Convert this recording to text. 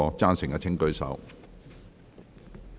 贊成的請舉手。